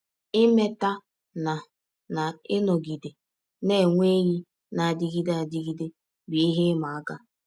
Imeta na na ịnọgide na - enwe enyi na - adịgide adịgide bụ ihe ịma aka.